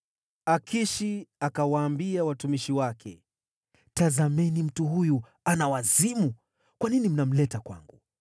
Akishi akawaambia watumishi wake, “Tazameni mtu huyu! Ana wazimu! Kwa nini mnamleta kwangu?